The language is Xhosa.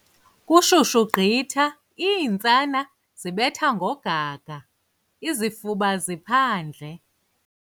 Kushushu gqitha iintsana zibetha ngogaga, izifuba ziphandle.